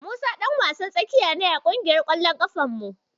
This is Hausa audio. Musa ɗan wasan tsakiya ne a ƙungiyar ƙwallon ƙafar mu.